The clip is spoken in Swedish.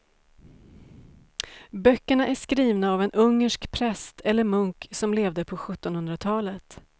Böckerna är skrivna av en ungersk präst eller munk som levde på sjuttonhundratalet.